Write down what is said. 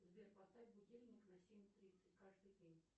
сбер поставь будильник на семь тридцать каждый день